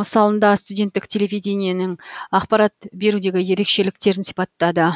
мысалында студенттік телевидениенің ақпарат берудегі ерекшеліктерін сипаттады